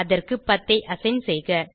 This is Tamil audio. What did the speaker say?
அதற்கு 10 ஐ அசைன் செய்க